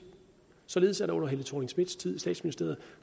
således at der under fru helle thorning schmidts tid i statsministeriet